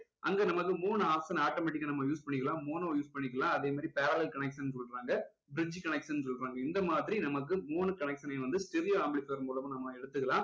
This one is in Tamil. அங்க நமக்கு மூணு option automatic ஆ நம்ம use பண்ணிக்கலாம் mono use பண்ணிக்கலாம் அதே மாதிரி parallel connection கொடுக்குறாங்க bridge connection சொல்றாங்க இந்த மாதிரி நமக்கு மூணு connection னையும் வந்து stereo amplifier முலமா நம்ம எடுத்துக்கலாம்